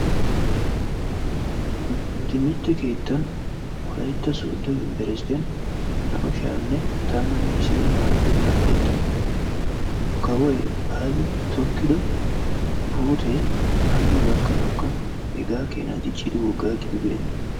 Nu timirtte keettaan wolaytta sooddo unbberssttiyan naa"u sha'anne tammanne issiini maarotettaa layttan nu kawoy Abi tokkiddo puute hano gakkanawukka hegaa kenaa diccidi woggaa gidibeenna.